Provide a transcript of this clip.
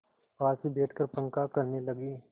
पास ही बैठकर पंखा करने लगी